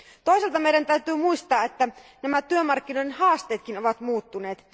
Toisaalta meidän täytyy muistaa, että työmarkkinoiden haasteetkin ovat muuttuneet.